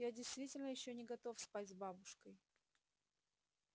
я действительно ещё не готов спать с бабушкой